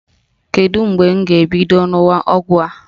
Kedu mgbe m ga-ebido ṅụwa ọgwụ a?